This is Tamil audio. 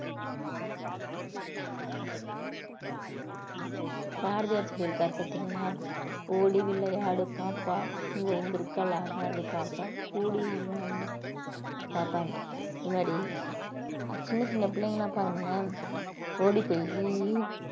பாரதியார் சொல்லியிருக்கார் பார்த்தீங்களா ஓடி விளையாடு பாப்பா ஓய்ந்திருக்கலாகாது பாப்பா கூடி வாழ்ந்தால் பாப்பாண்டு இந்த மாதிரி சின்ன சின்ன பிள்ளைங்கெல்லாம் பாருங்களேன் ஓடு போயி~